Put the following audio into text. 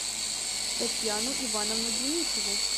татьяну ивановну денисову